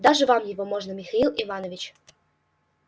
даже вам его можно михаил иванович